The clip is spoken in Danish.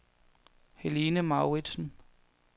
Helene Mouritsen